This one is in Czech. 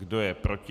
Kdo je proti?